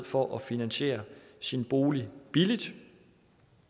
for at finansiere sin bolig billigt